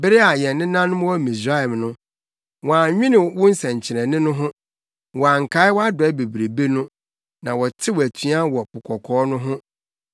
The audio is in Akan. Bere a yɛn nenanom wɔ Misraim no, wɔannwene wo nsɛnkyerɛnne ho; wɔankae wʼadɔe bebrebe no, na wɔtew atua wɔ Po Kɔkɔɔ no ho.